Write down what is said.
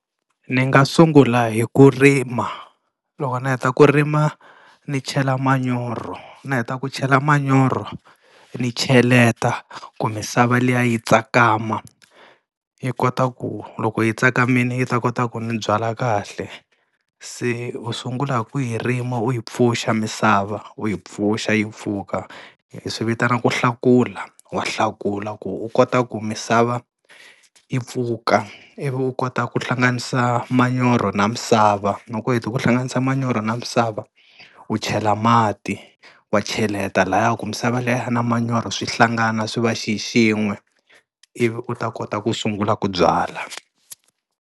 Ni nga sungula hi ku rima, loko ni heta ku rima ni chela manyoro ni heta ku chela manyoro ni cheleta ku misava liya yi tsakama yi kota ku loko yi tsakamini yi ta kota ku ni byala kahle. Se u sungula hi ku yi rima u yi pfuxa misava u yi pfuxa yi pfuka, hi swi vitana ku hlakula, wa hlakula ku u kota ku misava yi pfuka ivi u kota ku hlanganisa manyoro na misava, loko u heti ku hlanganisa manyoro na misava u chela mati wa cheleta lahaya ku misava liya na manyoro swi hlangana swi va xixin'we ivi u ta kota ku sungula ku byala.